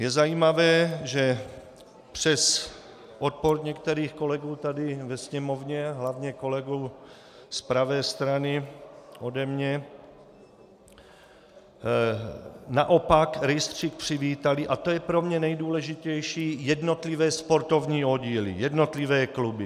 Je zajímavé, že přes odpor některých kolegů tady ve Sněmovně, hlavně kolegů z pravé strany ode mě, naopak rejstřík přivítaly, a to je pro mě nejdůležitější, jednotlivé sportovní oddíly, jednotlivé kluby.